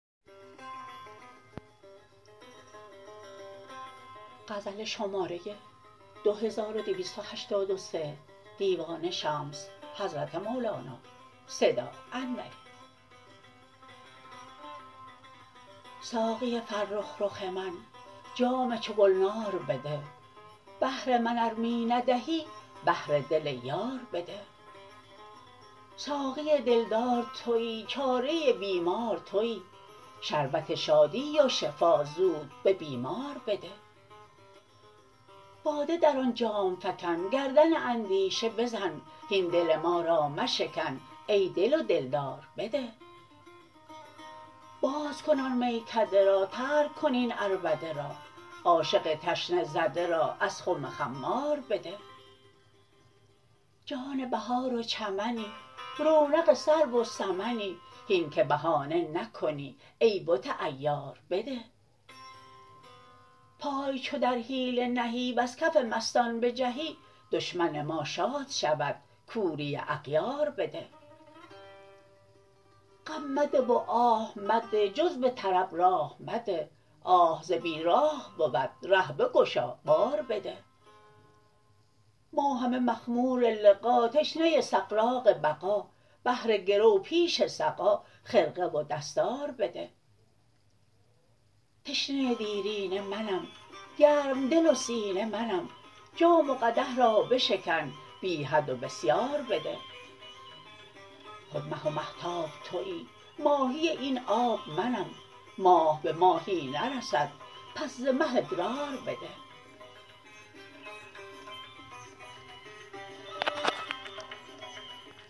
ساقی فرخ رخ من جام چو گلنار بده بهر من ار می ندهی بهر دل یار بده ساقی دلدار توی چاره بیمار توی شربت شادی و شفا زود به بیمار بده باده در آن جام فکن گردن اندیشه بزن هین دل ما را مشکن ای دل و دلدار بده باز کن آن میکده را ترک کن این عربده را عاشق تشنه زده را از خم خمار بده جان بهار و چمنی رونق سرو و سمنی هین که بهانه نکنی ای بت عیار بده پای چو در حیله نهی وز کف مستان بجهی دشمن ما شاد شود کوری اغیار بده غم مده و آه مده جز به طرب راه مده آه ز بیراه بود ره بگشا بار بده ما همه مخمور لقا تشنه سغراق بقا بهر گرو پیش سقا خرقه و دستار بده تشنه دیرینه منم گرم دل و سینه منم جام و قدح را بشکن بی حد و بسیار بده خود مه و مهتاب توی ماهی این آب منم ماه به ماهی نرسد پس ز مه ادرار بده